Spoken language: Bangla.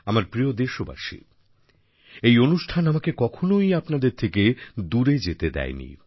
আমার প্রিয় দেশবাসী এই অনুষ্ঠান আমাকে কখনোই আপনাদের থেকে দূরে যেতে দেয়নি